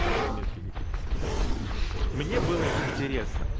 отметки какие-то стоит мне было интересно